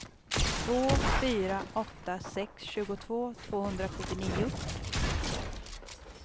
två fyra åtta sex tjugotvå tvåhundrasjuttionio